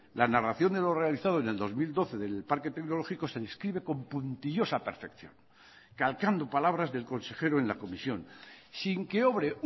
la narración de lo realizado en el dos mil doce del parque tecnológico se describe con puntillosa perfección calcando palabras del consejero en la comisión sin que obre